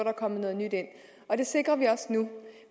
er kommet noget nyt ind og det sikrer vi også nu